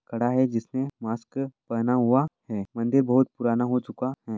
खड़ा है जिसने मास्क पेहना हुवा है मंदिर बहुत पुराना हो चूका है।